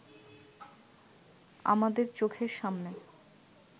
আমাদের চোখের সামনে